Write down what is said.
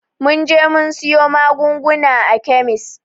Mun je mun siyo magungunan a kemis